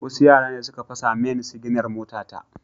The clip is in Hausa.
Wasu yara ne suka fasa main siginar motata